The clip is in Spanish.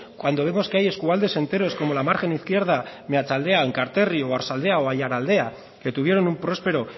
cuando vemos que eskualdes enteros como la margen izquierda meatzaldea enkalterri oarsoaldea o aiaraldea que tuvieron un próspero